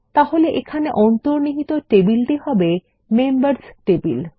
তাহলে এখানে অন্তর্নিহিত টেবিলটি হবে মেম্বার্স টেবিল